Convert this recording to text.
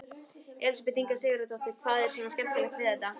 Elísabet Inga Sigurðardóttir: Hvað er svona skemmtilegt við þetta?